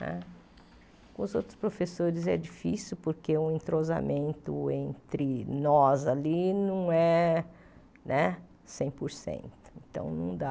Com os outros professores é difícil, porque o entrosamento entre nós ali não é né cem por cento.